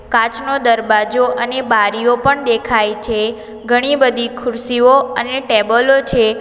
કાચનો દરવાજો અને બારીઓ પણ દેખાય છે ઘણી બધી ખુરસીઓ અને ટેબલો છે.